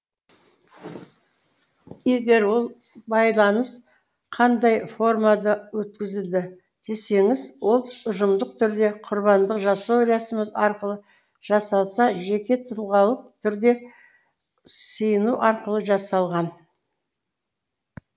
егер ол байланыс қандай формада өткізілді десеңіз ол ұжымдық түрде құрбандық жасау рәсімі арқылы жасалса жекетұлғалық түрде сыйыну арқылы жасалған